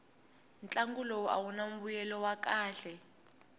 ntlangu lowu awuna mbuyelo wa kahle